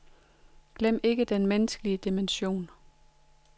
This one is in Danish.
Glem ikke den menneskelige dimension.